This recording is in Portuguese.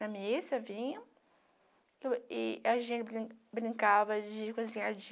Na missa vinham e e a gente brin brincava de cozinhar de...